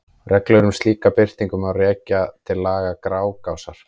Reglur um slíka birtingu má rekja til laga Grágásar.